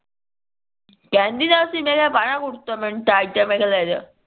ਕਿਹੰਦੀ ਨਾ ਸੀ ਮੈਂ ਕਿਹਾ ਟਾਇਟ ਆ ਕੁੜਤਾ ਮੈਂ ਕਿਹਾ ਲੇਜਾ